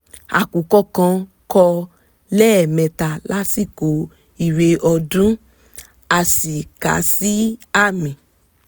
àkùkọ kan kọ lẹ́ẹ̀mẹta lásìkò ìre ọdún — a sì kàá sí àmì